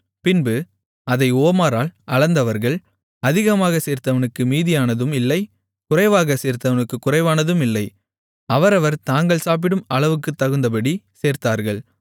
பின்பு அதை ஓமரால் அளந்தார்கள் அதிகமாகச் சேர்த்தவனுக்கு மீதியானதும் இல்லை குறைவாகச் சேர்த்தவனுக்குக் குறைவானதும் இல்லை அவரவர் தாங்கள் சாப்பிடும் அளவுக்குத்தகுந்தபடி சேர்த்தார்கள்